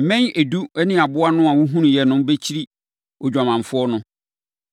Mmɛn edu ne aboa no a wohunuiɛ no bɛkyiri odwamanfoɔ no.